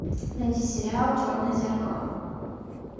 найди сериал черное зеркало